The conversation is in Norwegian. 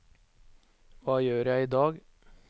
hva gjør jeg idag